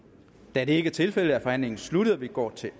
da det ikke er tilfældet er forhandlingen sluttet og vi går til